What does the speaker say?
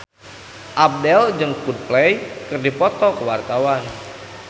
Abdel jeung Coldplay keur dipoto ku wartawan